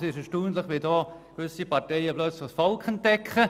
Es ist erstaunlich, wie gewisse Parteien plötzlich das Volk entdecken.